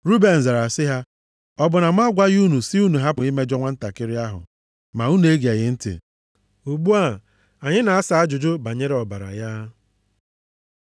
Ruben zara sị ha, “Ọ bụ na mụ agwaghị unu sị unu hapụ imejọ nwantakịrị ahụ, ma unu egeghị ntị? Ugbu a, anyị na-asa ajụjụ banyere ọbara ya.”